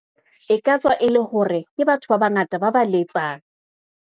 E katswa e le hore ke batho ba bangata ba ba letsang.